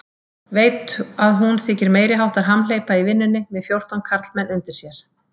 Veit að hún þykir meiriháttar hamhleypa í vinnunni með fjórtán karlmenn undir sér.